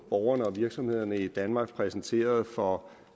borgerne og virksomhederne i danmark præsenteret for